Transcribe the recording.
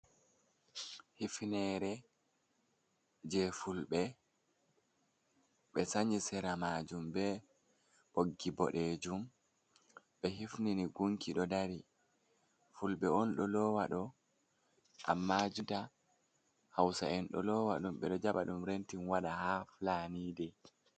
Hifnere je fulɓe ɓe sanyi sera majum ɓe ɓoggi boɗejum ɓe hifniri gunki ɗo ɗari fulɓe on ɗo lowa ɗo amma jonta hausa'en ɗo lowa ɗum be ɗo jaɓa ɗum rentin waɗa ha fulani de.